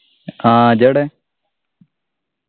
ആഹ് ഇജ്ജ് ഏടേ